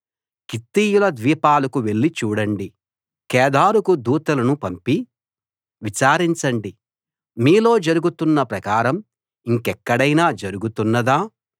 కిత్తీయుల ద్వీపాలకు వెళ్లి చూడండి కేదారుకు దూతలను పంపి విచారించండి మీలో జరుగుతున్న ప్రకారం ఇంకెక్కడైనా జరుగుతున్నదా